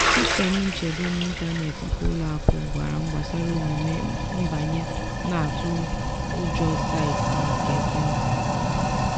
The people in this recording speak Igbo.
sistemụ nchedo n’ịntanetị nke ụlọ akụ gwara m gbasara omume nbanye na-atụ ụjọ site n’ekwentị m.